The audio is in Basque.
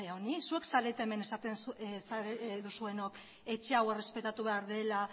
honi zuek zarete hemen esaten duzuenok etxe hau errespetatu behar dela